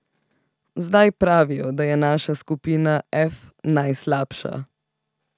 Zdaj pravijo, da je naša skupina F najslabša.